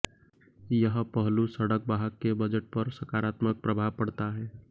यह पहलू सड़क वाहक के बजट पर सकारात्मक प्रभाव पड़ता है